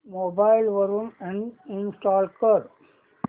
mobile वरून uninstall कर